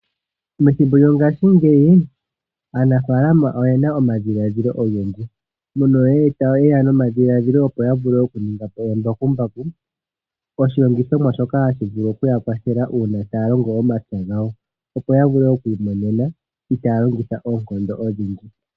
Methimbo lyongashingeyi aanafalama oyena omadhiladhilo ogendji mono yeya nomadhiladhilo okuninga po embakumbaku. Oshilongithomwa shoka hashi vulu okuya kwathela uuna taya longo omapya gawo. Opo ya vule oku imonena itaya longitha oonkondo odhindji.